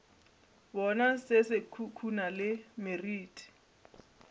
bona se khukhuna le meriti